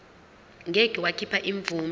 ngeke wakhipha imvume